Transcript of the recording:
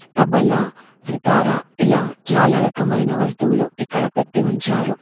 తబలా సితార ఇలా చాలా రకమైన వస్తువులు ఇక్కడ పెట్టి ఉంచారు.